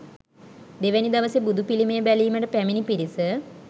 දෙවැනි දවසේ බුදුපිළිමය බැලීමට පැමිණි පිරිස